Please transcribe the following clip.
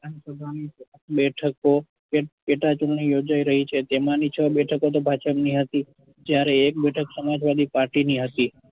બેઠકો પેટા ચુંટણી યોજાઈ રહી છે જેમાંની છ બેઠકો તો ભાજપની હતી જયારે એક બેઠક સમાજવાદી party ની હતી.